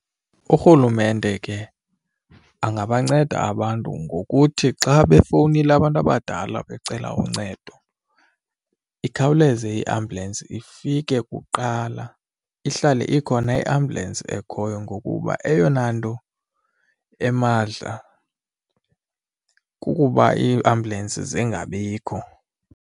Urhulumente ke angabanceda abantu ngokuthi xa befowunile abantu abadala becela uncedo ikhawuleze iambulensi ifike kuqala ihlale ikhona iambulensi ekhoyo ngokuba eyona nto emadla kukuba iiambulensi zingabikho.